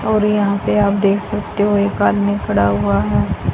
और यहां पे आप देख सकते हों एक आदमी खड़ा हुआ है।